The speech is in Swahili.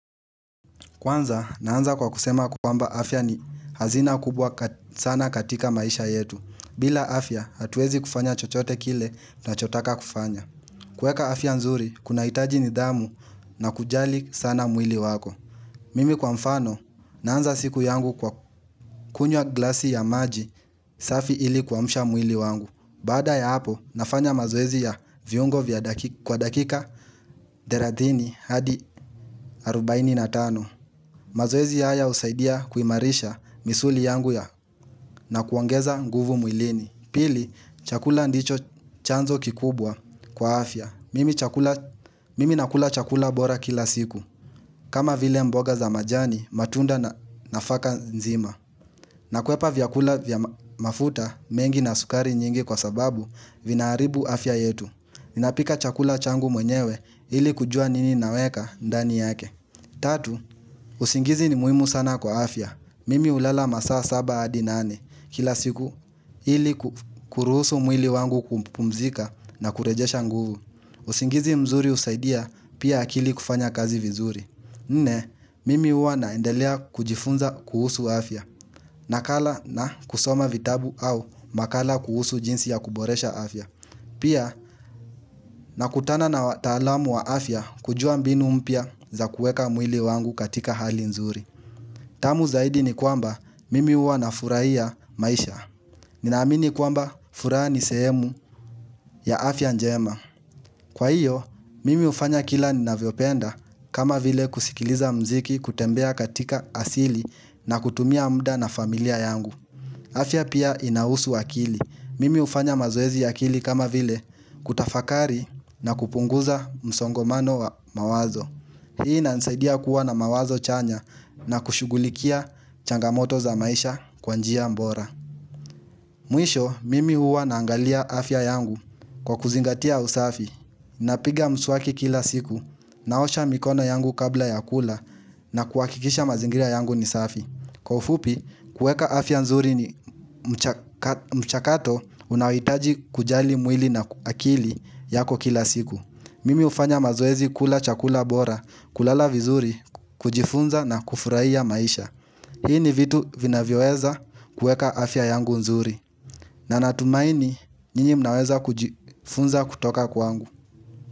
Kwanza, naanza kwa kusema kwamba afya ni hazina kubwa sana katika maisha yetu. Bila afya, hatuwezi kufanya chochote kile tunachotaka kufanya. Kuweka afya nzuri, kunahitaji nidhamu na kujali sana mwili wako. Mimi kwa mfano, naanza siku yangu kwa kunywa glasi ya maji, safi ili kuamsha mwili wangu. Baada ya hapo, nafanya mazoezi ya viungo kwa dakika thelathini hadi 45. Baini na tano, mazoezi haya husaidia kuimarisha misuli yangu ya na kuongeza nguvu mwilini. Pili, chakula ndicho chanzo kikubwa kwa afya. Mimi nakula chakula bora kila siku. Kama vile mboga za majani, matunda na nafaka nzima. Nakwepa vyakula vya mafuta mengi na sukari nyingi kwa sababu, vinaharibu afya yetu. Ninapika chakula changu mwenyewe ili kujua nini naweka ndani yake. Tatu, usingizi ni muhimu sana kwa afya. Mimi hulala masaa saba hadi nane kila siku ili kuruhusu mwili wangu kumpumzika na kurejesha nguvu. Usingizi mzuri husaidia pia akili kufanya kazi vizuri. Nne, mimi huwa naendelea kujifunza kuhusu afya. Nakala na kusoma vitabu au makala kuhusu jinsi ya kuboresha afya. Pia nakutana na wataalamu wa afya kujua mbinu mpya za kuweka mwili wangu katika hali nzuri. Tamu zaidi ni kwamba mimi huwa nafurahia maisha. Ninaamini kwamba furaha ni sehemu ya afya njema. Kwa hiyo, mimi hufanya kila ninavyopenda kama vile kusikiliza muziki, kutembea katika asili na kutumia muda na familia yangu. Afya pia inahusu akili. Mimi hufanya mazoezi ya akili kama vile kutafakari na kupunguza msongomano wa mawazo. Hii inanisaidia kuwa na mawazo chanya na kushughulikia changamoto za maisha kwa njia bora. Mwisho, mimi huwa naangalia afya yangu kwa kuzingatia usafi. Napiga mswaki kila siku, naosha mikono yangu kabla ya kula na kuhakikisha mazingria yangu ni safi. Kwa ufupi, kuweka afya nzuri ni mchakato unaohitaji kujali mwili na akili yako kila siku. Mimi hufanya mazoezi kula chakula bora, kulala vizuri, kujifunza na kufurahia maisha Hii ni vitu vinavyoweza kuweka afya yangu nzuri. Na natumaini nyinyi mnaweza kujifunza kutoka kwangu.